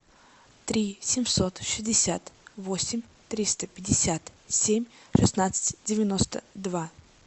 три семьсот шестьдесят восемь триста пятьдесят семь шестнадцать девяносто два